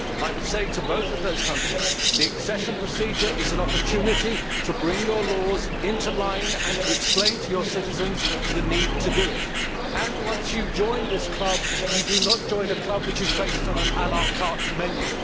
I would say to both of those countries that the accession procedure is an opportunity to bring your laws into line and to explain to your citizens the need to do so, and that once you join this club you, do not join a club which is based on an la carte menu.